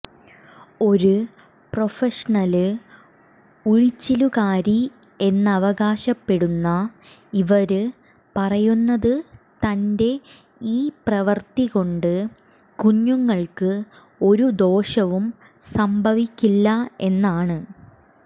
ഒരു പ്രൊഫഷണല് ഉഴിച്ചിലുകാരി എന്നവകാശപ്പെടുന്ന ഇവര് പറയുന്നത് തന്റെ ഈ പ്രവര്ത്തി കൊണ്ട് കുഞ്ഞുങ്ങള്ക്ക് ഒരു ദോഷവും സംഭവിക്കില്ല എന്നാണ്